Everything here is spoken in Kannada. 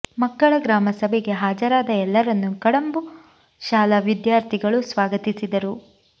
ಮಕ್ಕಳ ಗ್ರಾಮ ಸಭೆಗೆ ಹಾಜರಾದ ಎಲ್ಲರನ್ನು ಕಡಂಬು ಶಾಲಾ ವಿದ್ಯಾರ್ಥಿಗಳು ಸ್ವಾಗತಿಸಿದರು